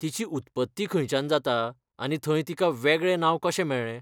तिची उत्पत्ती खंयच्यान जाता आनी थंय तिका वेगळें नांव कशें मेळ्ळें?